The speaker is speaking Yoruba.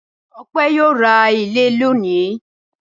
Ọpẹ́ yóò ra ilé lónìí.